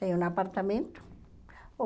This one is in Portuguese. Tenho um apartamento.